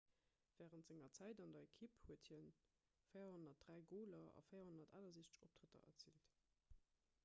wärend senger zäit an der ekipp huet hie 403 goler a 468 optrëtter erziilt